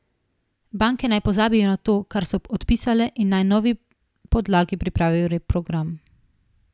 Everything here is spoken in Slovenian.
Banke naj pozabijo na to, kar so odpisale in naj na novi podlagi pripravijo reprogram.